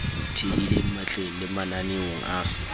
thehileng matleng le mananeong a